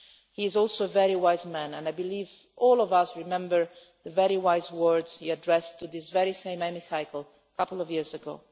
He is also a very wise man and I believe all of us remember the very wise words he addressed to this very Chamber a couple of years ago.